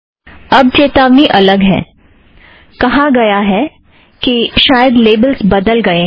अब चेतावनी अलग है कहा है कि शायद लेबलस् बदल गएं हैं